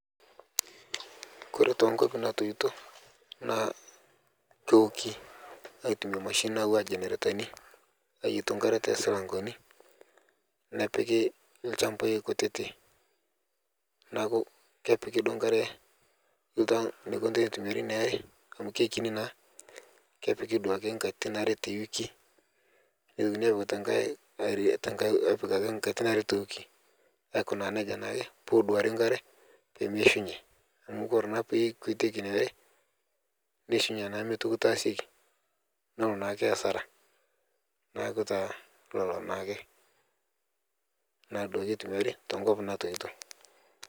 Kore tonkwapi natoito na keoki aitumia nona mashinini naji njeneretani ayietu enkarebtosilankeni nepiki lchambai kutitik neakukepika enkare akini pemeya enterit amu kekiti na kepiki duo nkatitin are tewiki aikunaa nejia peduari enkare pemeishunye amu ore naake pekuetieki inaare neishunye mitoki aitashe nelo naake asara neaku naa lolo naake tenkop natoito.